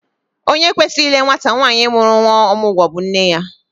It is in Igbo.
Onye kwesịrị ile nwata nwaanyị mụrụ nnwa ọmụgwọ bụ nne ya